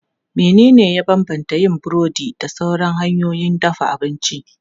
Menene ya bambanta yin burodi da sauran hanyoyin dafa abinci?